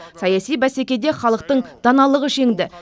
саяси бәсекеде халықтың даналығы жеңді